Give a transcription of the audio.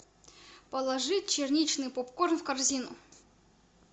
положи черничный попкорн в корзину